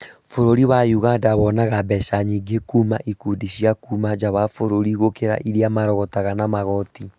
Bũrũri wa ũganda wonaga mbeca nyingĩ kuma ikundi cia kuma nja wa bũrũri gũkĩra irĩa marogotaga na magoti